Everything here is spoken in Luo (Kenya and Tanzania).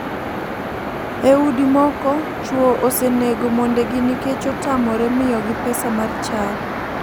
E udi moko chuo osenego mondegi nikech otamore miyogi pesa mar chadi.